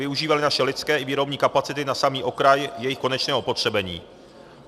Využívali naše lidské i výrobní kapacity na samý okraj jejich konečného upotřebení.